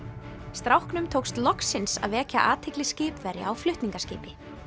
stráknum tókst loksins að vekja athygli skipverja á flutningaskipi